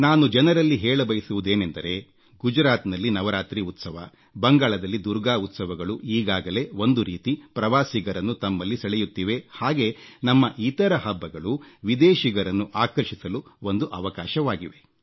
ನಾನು ಜನರಲ್ಲಿ ಹೇಳಬಯಸುವುದೇನೆಂದರೆ ಗುಜರಾತ್ನಲ್ಲಿ ನವರಾತ್ರಿ ಉತ್ಸವ ಬಂಗಾಳದಲ್ಲಿ ದುರ್ಗಾ ಉತ್ಸವಗಳು ಈಗಾಗಲೇ ಒಂದು ರೀತಿ ಪ್ರವಾಸಿಗರನ್ನು ತಮ್ಮಲ್ಲಿ ಸೆಳೆಯುತ್ತಿವೆ ಹಾಗೆ ನಮ್ಮ ಇತರ ಹಬ್ಬಗಳು ವಿದೇಶಿಗರನ್ನು ಆಕರ್ಷಿಸಲು ಒಂದು ಅವಕಾಶವಾಗಿವೆ